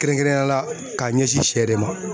Kɛrɛnkɛrɛnnenya la k'a ɲɛsin sɛ de ma.